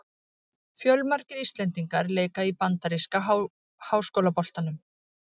Fjölmargir íslendingar leika í bandaríska háskólaboltanum.